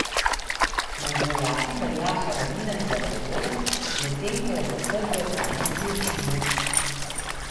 Med rojaki velja Haradinaj za heroja, medtem ko je za Srbe vojni zločinec.